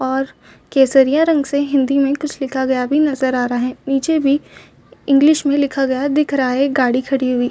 और केसरिया रंग से हिंदी में कुछ लिखा गया भी नज़र आ रहा है और निचे भी इंग्लिश लिखा गया दिखा रहा है और एक गाड़ी खाड़ी हुई--